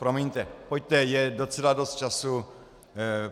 Promiňte, pojďte je docela dost času.